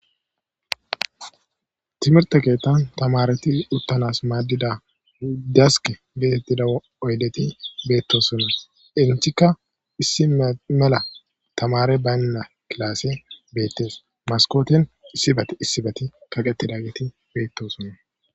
Timirte keettan tamareti uttanas maaddida dask geetettida oyleti beetto sonas inchikka issi mela tamare baynna kilaasse beettees maskootin issibat issibati kaqetida geti beetto sunna.